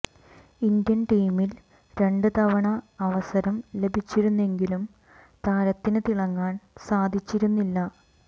Indian ടീമിൽ രണ്ട് തവണ അവസരം ലഭിച്ചിരുന്നെങ്കിലും താരത്തിന് തിളങ്ങാൻ സാധിച്ചിരുന്നില്ല